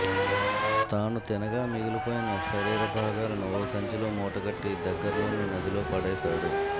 తాను తినగా మిగిలిపోయిన శరీరభాగాలను ఓ సంచిలో మూటగట్టి దగ్గర్లోని నదిలో పడేశాడు